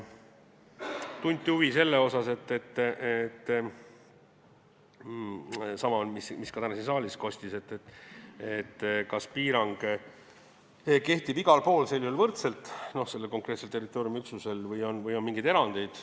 Tunti huvi selle vastu – sama küsimus, mis täna ka siin saalis kostis –, kas piirang kehtib sel juhul sellel konkreetsel territooriumiüksusel igal pool võrdselt või on mingeid erandeid.